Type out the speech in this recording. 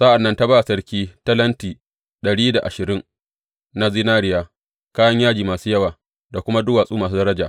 Sa’an nan ta ba sarki talenti dari da ashirin na zinariya, kayan yaji masu yawa, da kuma duwatsu masu daraja.